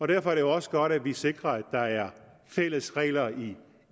derfor er det også godt at vi sikrer at der er fælles regler i